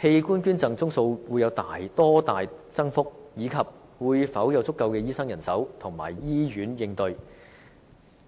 器官捐贈宗數會有多大增幅，以及會否有足夠的醫生人手和醫院應對該增幅。